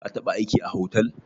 Ka taba aiki a hotel?